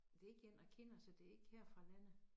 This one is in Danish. Det ikke én jeg kender så det ikke her fra landet